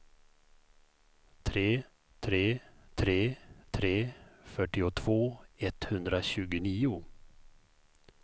tre tre tre tre fyrtiotvå etthundratjugonio